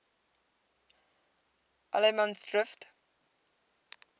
allemansdrift